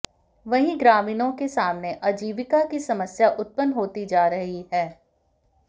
वहीं ग्रामीणों के सामने आजीविका की समस्या उत्पन्न होती जा रही है